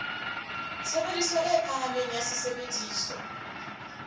tshebediso e phahameng ya sesebediswa